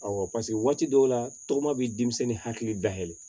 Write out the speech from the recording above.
Awɔ paseke waati dɔw la tɔgɔma bɛ denmisɛnnin hakili da yɛlɛ